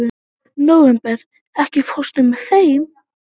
Nóvember, ekki fórstu með þeim?